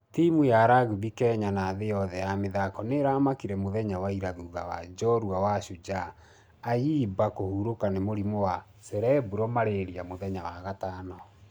....ya rugby kenya na thĩ yothe ya mĩthako nĩramakire mũthenya wa ira thutha wa njorua wa shujaa ayimba kũhurũka nĩ mũrimũ wa cerebral malaria mũthenya wa gatano.